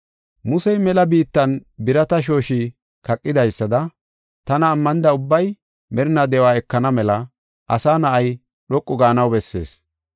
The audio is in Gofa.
Musey mela biittan Naase birata shooshi kaqidaysada tana ammanida ubbay merinaa de7uwa ekana mela Asa Na7ay dhoqu gaanaw bessees.